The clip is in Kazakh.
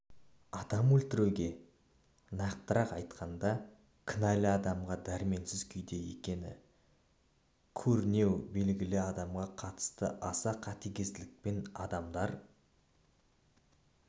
адам өлтіруге нақтырақ айтқанда кінәлі адамға дәрменсіз күйде екені көрінеу белгілі адамға қатысты аса қатыгездікпенадамдар